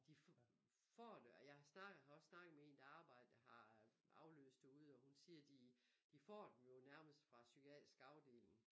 De får det og jeg snakker har også snakket med en der arbejder har afløst derude og hun siger de de får dem jo nærmest fra psykiatrisk afdeling